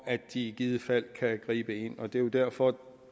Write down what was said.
at de i givet fald kan gribe ind derfor